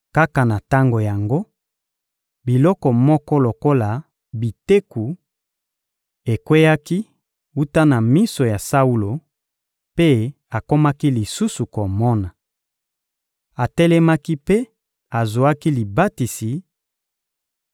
Kaka na tango yango, biloko moko lokola biteku ekweyaki wuta na miso ya Saulo, mpe akomaki lisusu komona. Atelemaki mpe azwaki libatisi;